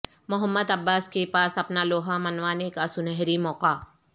محمد عباس کے پاس اپنا لوہا منوانے کا سنہری موقع